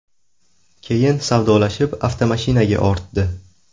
Keyin savdolashib, avtomashinaga ortdi.